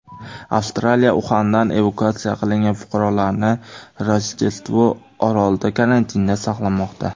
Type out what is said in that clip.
Avstraliya Uxandan evakuatsiya qilingan fuqarolarini Rojdestvo orolida karantinda saqlamoqda.